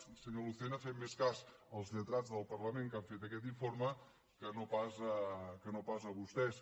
i senyor lucena fem més cas als lletrats del parlament que han fet aquest informe que no pas a vostès